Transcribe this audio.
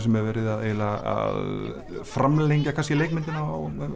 sem er verið eiginlega að framlengja kannski leikmyndina